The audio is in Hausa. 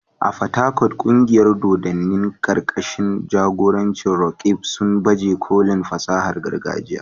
A Port Harcourt, kungiyar dodanni karkashin jagorancin Roqeeb, sun baje kolin fasahar gargajiya.